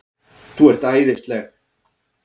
ÞÚ ERT ÆÐISLEG!